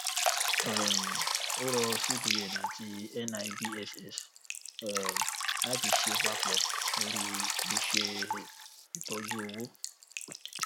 um ó rọ cbn àti nibss um láti ṣe papọ lórí iṣé ìtọjú owó